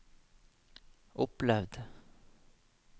opplevd